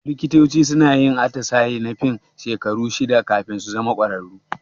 Likitoci suna yin atisaye na fin shekaru shida kafin su zama kwararru.